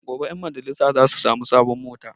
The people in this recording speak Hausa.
Gobe ƴan majalisa za su sami sabon mota